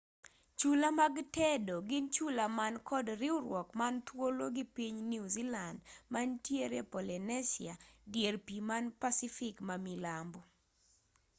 chula mag tedo gin chula man kod riwruok man thuolo gi piny new zealand mantie polynesia dier pii man pacific mamilambo